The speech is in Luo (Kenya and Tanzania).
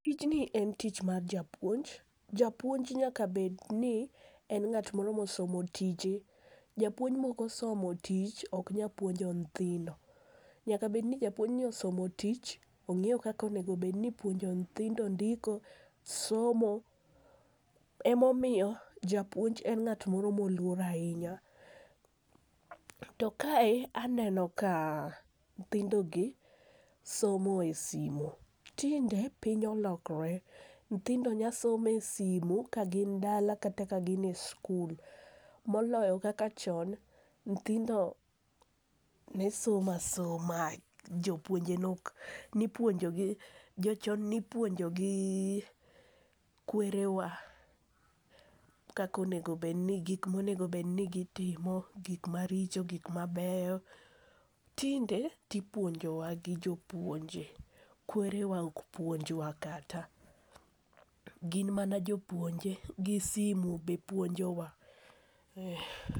Tijni en tich mar japuonj, japuonj nyaka bedni en ng'at moro mosomo tije, japuonj mok osomo tich ok nya puonjo nyithindo. Nyaka bedni japuonjni osomo tich, ong'eyo kaka onego obedni ipuonjo nyithindo ndiko, somo, emomiyo japuonj en ng'at moro moluor ahinya. To kae, aneno ka nyithindogi somo e simu. Tinde piny olokore, nyithindo nyasomo e simu ka gin dala kata ka gin e skul, moloyo kaka chon, nyithindo ne somo asoma, jopuonje ne ok jochon nipuonjogi kwerewa, gik monego obedni gitimo, gik maricho, gik mabeyo, tinde tipuonjowa gi jopuonje, kwerewa ok puonjwa kata. Gin mana jopuonje, gi simu be puonjowa.